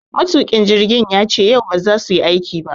Matuƙin jirgin yace yau ba za suyi aiki ba.